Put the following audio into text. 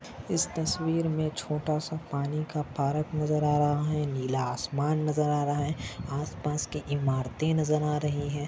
इस तस्वीर मे छोटा सा पानी का पार्क नजर आ रहा है नीला आसमान नजर आ रहा है आस-पास के इमारते नजर आ रही है।